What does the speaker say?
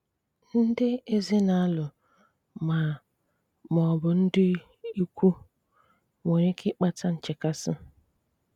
Ndị̀ èzìnàlụ̀ mà mà ọ̀bụ̀ ndị̀ ìkwù (nwèrè ike ịkpàtà nchekàsị̀.